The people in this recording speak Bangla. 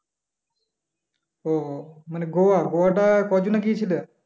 ও মানে গোয়া গোয়াটা কয়দিনে গিয়েছিলে?